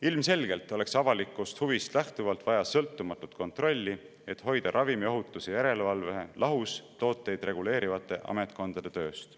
Ilmselgelt oleks avalikust huvist lähtuvalt vaja sõltumatut kontrolli, et hoida ravimiohutuse järelevalve lahus tooteid reguleerivate ametkondade tööst.